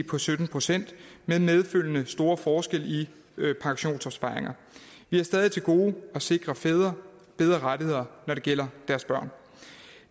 på sytten procent med medfølgende store forskelle i pensionsopsparinger vi har stadig til gode at sikre fædre bedre rettigheder når det gælder deres børn